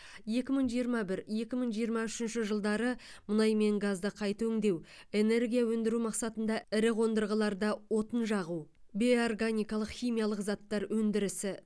екі мың жиырма бір екі мың жиырма үшінші жылдары мұнай мен газды қайта өңдеу энергия өндіру мақсатында ірі қондырғыларда отын жағу бейорганикалық химиялық заттар өндірісі